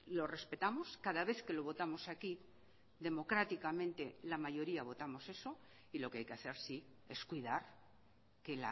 lo respetamos cada vez que lo votamos aquí democráticamente la mayoría votamos eso y lo que hay que hacer sí es cuidar que